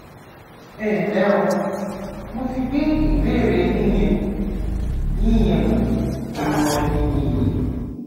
ẹnlẹ o mo ti gbé ìbéèrè yín yẹ yín yẹ wò ìmọràn mi nìyí